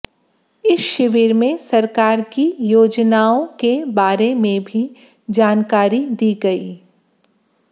इस शिविर में सरकार की योजनाओं बारे भी जानकारी दी गई